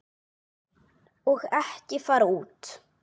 Og ekki fara út.